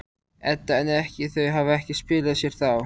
Edda: En ekki, þau hafa ekki skilað sér þá?